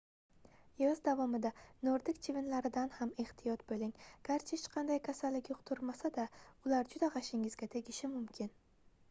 yoz davomida nordik chivinlaridan ham ehtiyot boʻling garchi hech qanday kasallik yuqtirmasa-da ular juda gʻashingizga tegishi mumkin